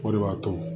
O de b'a to